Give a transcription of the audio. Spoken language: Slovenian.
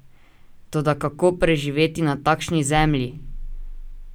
Toda kako preživeti na takšni zemlji?